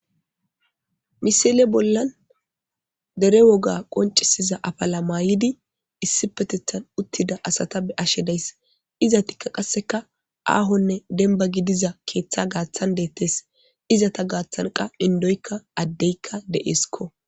Misile bolan dere woga qoncisiza afala mayidi issipeteththan utida asata be7ashe daysi.izetika qaseka ahone denba gidiza keththa gathan detes .izzeta gathana qa endoyka adeyka de7eskko.